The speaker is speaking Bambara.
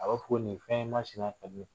A bɛ fɔ ko nin fɛn masina kad' i ye